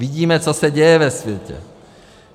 Vidíme, co se děje ve světě.